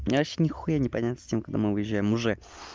мне вообще нехуя не понятно с тем когда мы уезжаем уже